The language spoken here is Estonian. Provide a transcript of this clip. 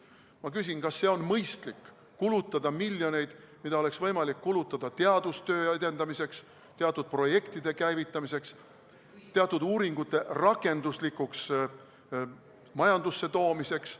Ma küsin, kas on mõistlik kulutada selleks miljoneid, mida oleks võimalik kulutada teadustöö edendamiseks, projektide käivitamiseks, uuringutulemuste rakenduslikult majandusse toomiseks.